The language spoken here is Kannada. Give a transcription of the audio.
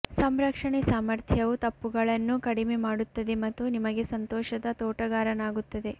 ಸಂರಕ್ಷಣೆ ಸಾಮರ್ಥ್ಯವು ತಪ್ಪುಗಳನ್ನು ಕಡಿಮೆ ಮಾಡುತ್ತದೆ ಮತ್ತು ನಿಮಗೆ ಸಂತೋಷದ ತೋಟಗಾರನಾಗುತ್ತದೆ